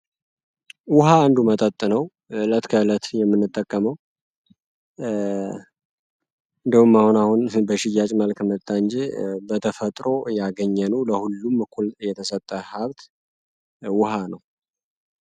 ውሃ አንዱ መጠጥ ነው። እለት ከለት የሚንጠቀመው እንደውም አሆን አሁን በሽያጭ መልክ መጣ እንጂ በተፈጥሮ ያገኘነው ለሁሉም እኩል የተሰጠን ሀብት ውሃ ነው።